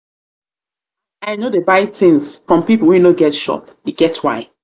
i no dey buy tins from pipo wey no get shop e get why.